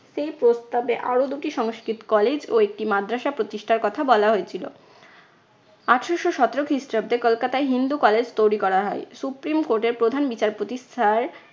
সেই প্রস্তাবে আরো দুটি সংস্কৃত college ও একটি মাদ্রাসা প্রতিষ্ঠার কথা বলা হয়েছিল। আঠারশো সতেরো খ্রিস্টাব্দে কলকাতায় হিন্দু college তৈরী করা হয়। supreme court এর প্রধান বিচারপতি sir